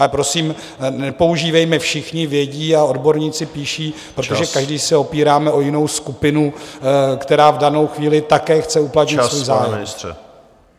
Ale prosím, nepoužívejme "všichni vědí" a "odborníci píší", protože každý se opíráme o jinou skupinu, která v danou chvíli také chce uplatnit svůj zájem.